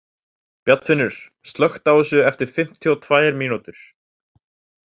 Bjarnfinnur, slökktu á þessu eftir fimmtíu og tvær mínútur.